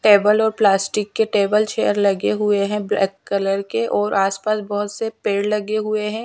Table ओ plastic के table chair लगे हुए हैं ब्लैक कलर के ओर आस पास बहोत से पेड़ लगे हुए है।